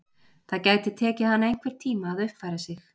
Það gæti tekið hana einhvern tíma að uppfæra sig.